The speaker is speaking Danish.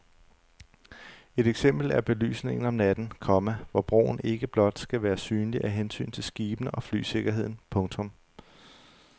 Et eksempel er belysningen om natten, komma hvor broen ikke blot skal være synlig af hensyn til skibene og flysikkerheden. punktum